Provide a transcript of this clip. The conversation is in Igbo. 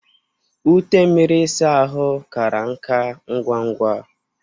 Ute mmiri ịsa ahụ kara nka ngwa ngwa.